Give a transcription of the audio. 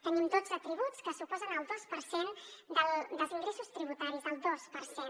tenim dotze tributs que suposen el dos per cent dels ingressos tributaris el dos per cent